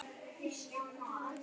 Bestu þakkir.